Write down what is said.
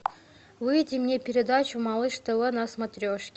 выведи мне передачу малыш тв на смотрешке